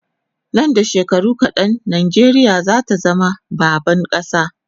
Nan da shekaru kadan Najeriya zata zama baban kasa